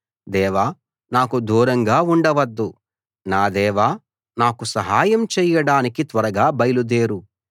దేవా నాకు దూరంగా ఉండవద్దు నా దేవా నాకు సహాయం చేయడానికి త్వరగా బయలుదేరు